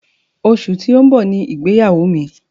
Oṣù tó ń bọ̀ ni ìgbéyàwó mi.